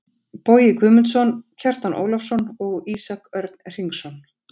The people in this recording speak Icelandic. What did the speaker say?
Bogi Guðmundsson, Kjartan Ólafsson og Ísak Örn Hringsson.